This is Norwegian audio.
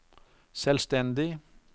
selvstendig